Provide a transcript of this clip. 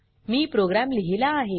मी program लिहिला आहे